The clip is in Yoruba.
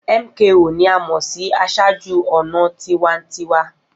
MKO ni a mọ si aṣáájú-ọnà tiwantiwa.